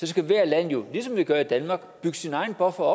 skal hvert land jo ligesom vi gør i danmark bygge sin egen buffer